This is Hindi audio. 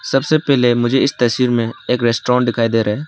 सबसे पहले मुझे इस तस्वीर में एक रेस्टोरेंट दिखाई दे रहा है।